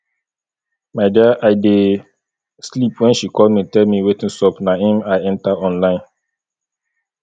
my dear i dey sleep wen she call me tell me wetin sup na im i enter online